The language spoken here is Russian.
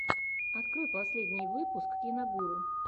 открой последний выпуск киногуру